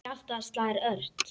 Hjartað slær ört.